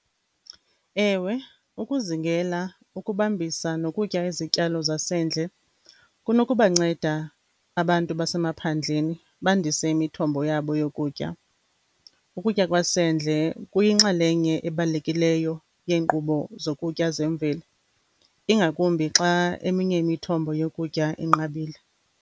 Ewe ukuzingela, ukubambisa nokutya izityalo zasendle kunokubanceda abantu basemaphandleni bandise imithombo yabo yokutya. Ukutya kwasendle kuyinxalenye ebalulekileyo yeenkqubo zokutya zemveli, ingakumbi xa eminye imithombo yokutya inqabile.